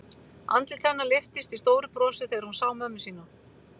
Andlit hennar lyftist í stóru brosi þegar hún sá mömmu sína.